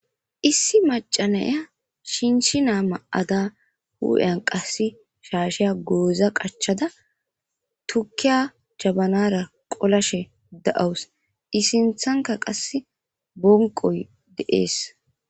issi macanaya shinshinaa ma7ada hu7en qasse shaasheya gooza qachada tukiya cabanara qolashe da7awus isinthanka qasse bonqoy de7ees